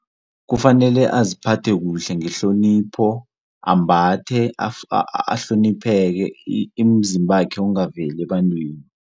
Kufanele aziphathe kuhle ngehlonipho ambathe ahlonipheke imizimbakhe ingaveli ebantwini.